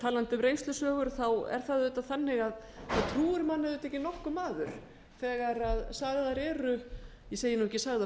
talandi um reynslusögur er það auðvitað þannig að það trúir manni auðvitað ekki nokkur maður þegar sagðar eru ég segi nú ekki sagðar